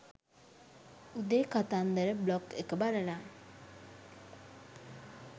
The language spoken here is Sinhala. උදේ කතන්දර බ්ලොග් එක බලලා